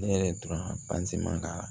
Ne yɛrɛ dɔrɔn man ka